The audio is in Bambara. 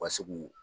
U ka se k'u